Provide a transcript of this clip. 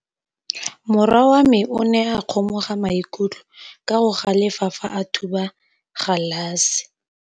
Morwa wa me o ne a kgomoga maikutlo ka go galefa fa a thuba galase.